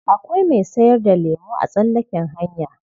Akwai mai sayar da lemo a tsallaken hanya.